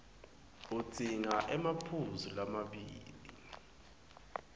udzinga emaphuzu lamabili